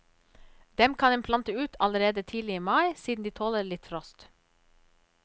Dem kan en plante ut allerede tidlig i mai, siden de tåler litt frost.